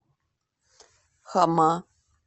хама